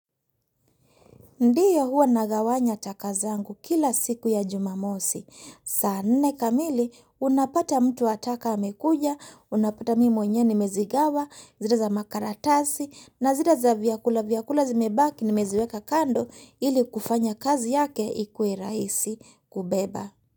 Ndiyo hua nagawanya taka zangu kila siku ya jumamosi. Saa nne kamili, unapata mtu wa taka amekuja, unapata mimi mwenyewe nimezigawa, zile za makaratasi, na zile za vyakula vyakula zimebaki nimeziweka kando ili kufanya kazi yake ikuwe rahisi kubeba.